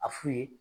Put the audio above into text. A f'u ye